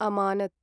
अमानत्